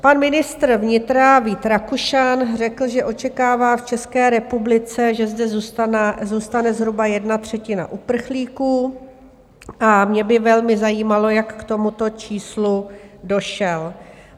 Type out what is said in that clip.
Pan ministr vnitra Vít Rakušan řekl, že očekává v České republice, že zde zůstane zhruba jedna třetina uprchlíků, a mě by velmi zajímalo, jak k tomuto číslu došel.